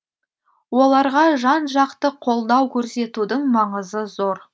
оларға жан жақты қолдау көрсетудің маңызы зор